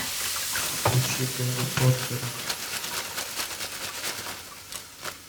включи гарри поттера